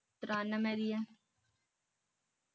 ਤਿਰਾਨਵੇ ਦੀ ਐ